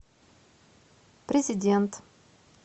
президент